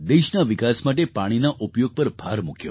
દેશના વિકાસ માટે પાણીના ઉપયોગ પર ભાર મૂક્યો